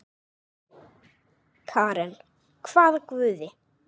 Karen: hvaða guði?